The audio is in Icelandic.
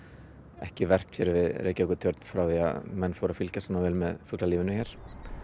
ekki verpt hér við Reykjavíkurtjörn frá því að menn fóru að fylgjast með fuglalífinu hér